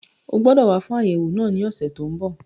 O gbọdọ̀ wá fún àyẹ̀wò náà ní ọ̀sẹ̀ tó n bọ̀